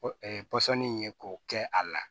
pɔsɔnni ye k'o kɛ a la